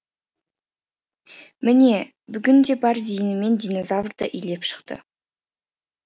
міне бүгін де бар зейінімен динозаврды илеп шықты